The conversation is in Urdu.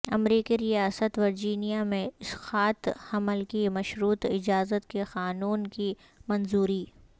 امریکی ریاست ورجینیا میں اسقاط حمل کی مشروط اجازت کے قانون کی منظوری